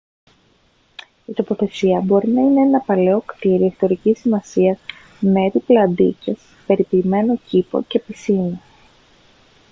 η τοποθεσία μπορεί να είναι ένα παλαιό κτίριο ιστορικής σημασίας με έπιπλα αντίκες περιποιημένο κήπο και πισίνα